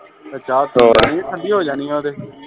ਚਾ ਠੰਡੀ ਹੋ ਜਾਣੀ ਆ